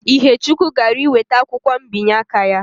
Ihechukwu gara iweta akwụkwọ mbinye aka ya